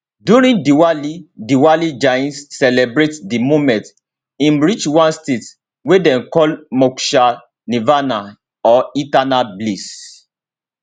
during diwali diwali jains celebrate di moment im reach one state wey dem call moksha nirvana or eternal bliss